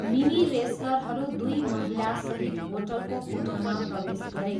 Mini रेस्लरहरू दुई महिलासहित होटलको कोठामा प्रवेश गरे।